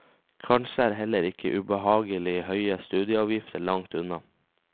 Kanskje er heller ikke ubehagelig høye studieavgifter langt unna.